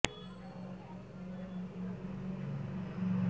তখন নির্বাচনে দলীয় মনোনয়ন পান সাবেক স্বাস্থ্য প্রতিমন্ত্রী মুক্তিযোদ্ধা ডা